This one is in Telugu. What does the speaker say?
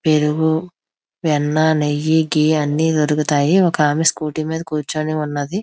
పెరుగు వెన్న నెయ్యి ఘీ అన్ని దొరుకుతాయి. ఒక ఆమె స్కూటీ మీద కూర్చొని ఉన్నది.